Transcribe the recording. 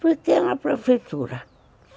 Porque é uma prefeitura.